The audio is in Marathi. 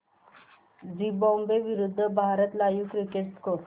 झिम्बाब्वे विरूद्ध भारत लाइव्ह क्रिकेट स्कोर